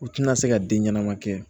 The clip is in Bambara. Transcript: U tɛna se ka den ɲɛnama kɛ